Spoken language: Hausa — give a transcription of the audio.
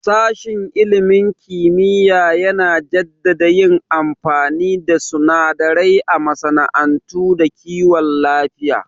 Sashen ilimin kimiyya yana jaddada yin amfani da sunadarai a masana'antu da kiwon lafiya